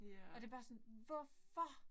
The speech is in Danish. Og det bare sådan hvorfor!